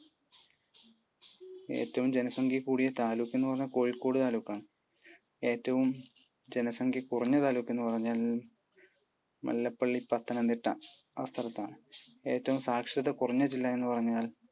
ഏറ്റവും ജനസംഖ്യ കൂടിയ താലൂക്ക് എന്ന് പറഞ്ഞാൽ കോഴിക്കോട് താലൂക്ക് ആണ്. ഏറ്റവും ജനസംഖ്യ കുറഞ്ഞ താലൂക്ക് എന്ന് പറഞ്ഞാൽ അത് മല്ലപ്പള്ളി പത്തനംതിട്ട ആ സ്ഥലത്താണ്. ഏറ്റവും സാക്ഷരത കുറഞ്ഞ ജില്ല എന്നു പറഞ്ഞാൽ